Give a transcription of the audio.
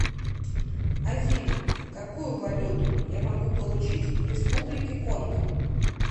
афина какую валюту я могу получить в республике конго